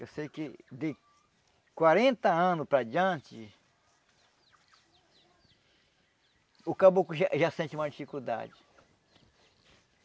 Eu sei que de quarenta anos para diante, o caboclo já já sente maior dificuldade.